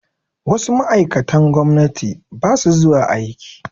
Wasu ma'aikatan gwamnati ba su zuwa aiki